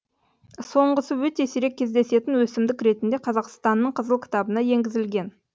соңғысы өте сирек кездесетін өсімдік ретінде қазақстанның қызыл кітабына енгізілген